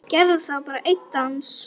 Gerðu það, bara einn dans.